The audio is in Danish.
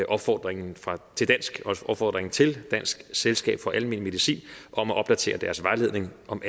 opfordringen til dansk selskab for almen medicin om at opdatere deres vejledning om